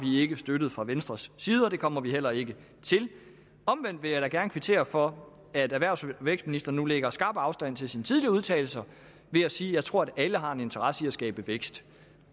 vi ikke støttet fra venstres side og det kommer vi heller ikke til omvendt vil jeg da gerne kvittere for at erhvervs og vækstministeren nu lægger skarp afstand til sine tidligere udtalelser ved at sige at hun tror at alle har en interesse i at skabe vækst